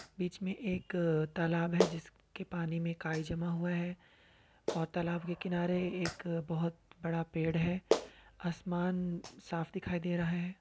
बीच में एक तालाब है जिसके पानी में काई जमा हुआ है और तालाब के किनारे एक बहुत बड़ा पेड़ है | आसमान साफ दिखाई दे रहा है।